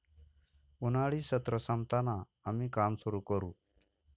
उन्हाळी सत्र संपताना आम्ही काम सुरु करू.